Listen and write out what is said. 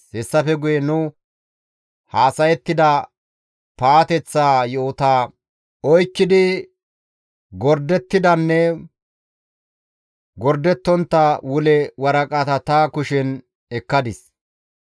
Hessafe guye nu haasayettida paateththa yo7ota oykkidi gordettidanne gordettontta wule waraqata ta kushen ekkadis.